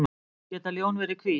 Geta ljón verið hvít?